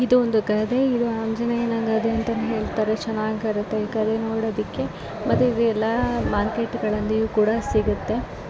ಇಲ್ಲಿ ಒಂದು ಗದೆ ಇದೆ ಆಂಜನೇಯ ಗದೆ ಅಂತಾ ಹೇಳತಾರೆ ಮತ್ ಇದು ಚನಾಗಿರು ಮತ್ತೆ ಎಲ್ಲಾ ಮಾರ್ಕೆಟ್ಗಳಲ್ಲಿ ಕೂಡ ಸಿಗುತ್ತೆ.